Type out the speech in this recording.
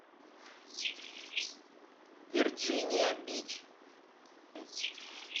верджиния бич